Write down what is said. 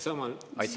Aitäh!